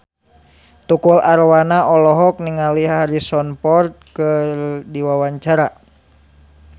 Tukul Arwana olohok ningali Harrison Ford keur diwawancara